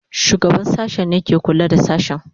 Shugaban sashen ne ke kula da sashen.